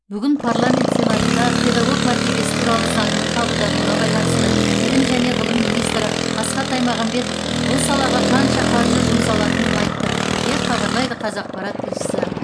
бүгін парламент сенатында педагог мәртебесі туралы заңның қабылдануына байланысты білім және ғылым министрі асхат аймағамбетов бұл салаға қанша қаржы жұмсалатынын айтты деп хабарлайды қазақпарат тілшісі